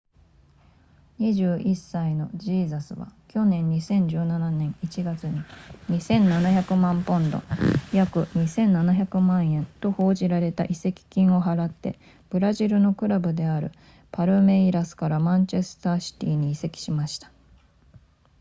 21歳のジーザスは昨年2017年1月に2700万ポンド約 2,700 万円と報じられた移籍金を払ってブラジルのクラブであるパルメイラスからマンチェスターシティに移籍しました